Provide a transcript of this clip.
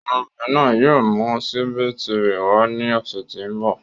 Ọmọbìnrin náà yóò mú síbí tirẹ̀ wàá ni ọ̀sẹ̀ tí ń bọ̀.